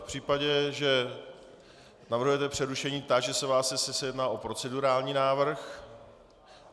V případě, že navrhujete přerušení, táži se vás, jestli se jedná o procedurální návrh.